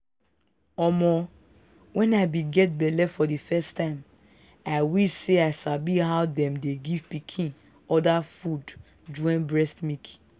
omoh when i be get belle for the first time i wish say i sabi how them dey give pikin other food join breast milk.